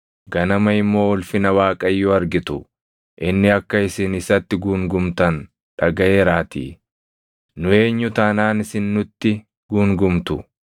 Ganama immoo ulfina Waaqayyoo argitu; inni akka isin isatti guungumtan dhagaʼeeraatii. Nu eenyu taanaan isin nutti guungumtu?”